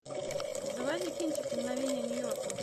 заводи кинчик мгновения нью йорка